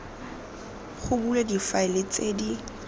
go bulwe difaele tse di